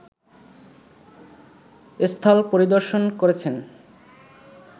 স্থল পরিদর্শন করেছেন